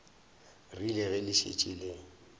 rile ge le šetše le